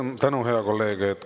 Suur tänu, hea kolleeg!